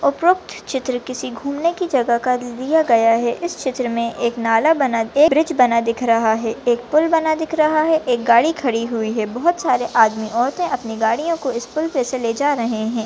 उपरोक्त चित्र किसी घूमने की जगह का दिया गया है इस चित्र मे एक नाला बना एक ब्रिज बना दिख रहा है एक पुल बना दिख रहा है एक गाड़ी खड़ी हुई है बहुत सारे आदमी औरते अपने गाड़ियो को इस पुल पे से ले जा रहे है।